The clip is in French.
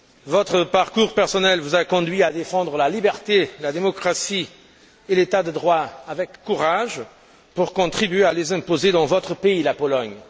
Votre parcours personnel vous a conduit à défendre la liberté, la démocratie et l'État de droit avec courage pour contribuer à les imposer dans votre pays, la Pologne.